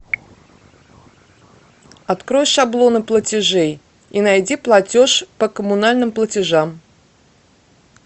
открой шаблоны платежей и найди платеж по коммунальным платежам